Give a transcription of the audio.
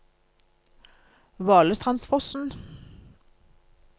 Valestrandsfossen